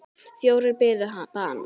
Fjórir biðu bana.